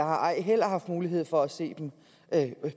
ej heller haft mulighed for at se dem